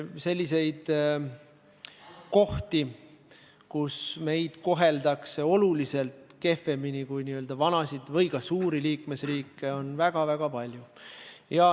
Selliseid kohti, kus meid koheldakse oluliselt kehvemini kui n-ö vanasid või ka suuri liikmesriike, on väga-väga palju.